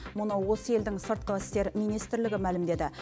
мұны осы елдің сыртқы істер министрлігі мәлімдеді